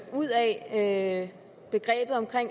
ud af begrebet